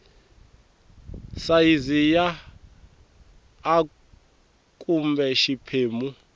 sayizi ya a kumbe xiphemu